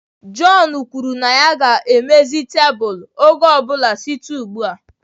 John kwuru na ya ga-edozi ọnụ ụzọ oge ọ bụla site ugbu a